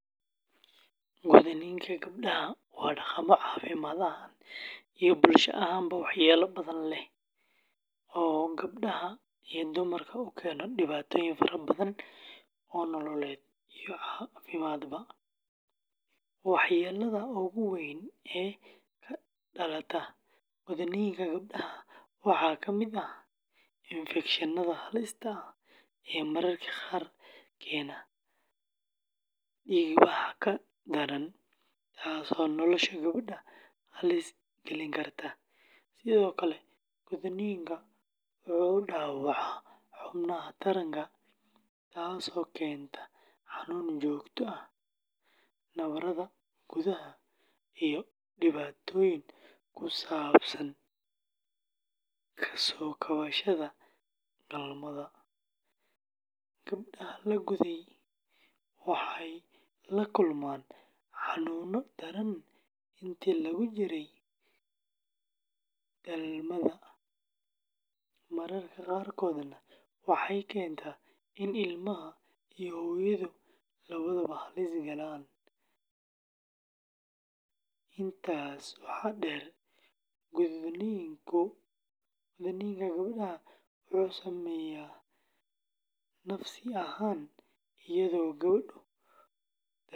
Gudniinka gabdhaha waa dhaqamo caafimaad ahaan iyo bulsho ahaanba waxyeello badan leh oo gabdhaha iyo dumarka u keena dhibaatooyin fara badan oo nololeed iyo caafimaadba. Waxyeelada ugu weyn ee ka dhalata gudniinka gabdhaha waxaa ka mid ah infekshannada halista ah ee mararka qaar keena dhiigbax daran, taasoo nolosha gabadha halis gelin karta. Sidoo kale, gudniinka wuxuu dhaawacaa xubnaha taranka, taasoo keenta xanuun joogto ah, nabarrada gudaha, iyo dhibaatooyin ku saabsan ka soo kabashada dhalmada. Gabdhaha la guday waxay la kulmaan xanuuno daran intii lagu jiray dhalmada, mararka qaarkoodna waxay keentaa in ilmaha iyo hooyadu labadaba halis galaan. Intaas waxaa dheer, gudniinka gabdhaha wuxuu saameeyaa nafsi ahaan, iyadoo gabdhuhu dareemaan cabsi.